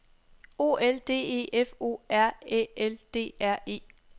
O L D E F O R Æ L D R E